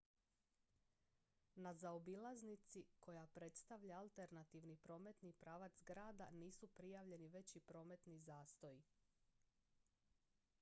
na zaobilaznici koja predstavlja alternativni prometni pravac grada nisu prijavljeni veći prometni zastoji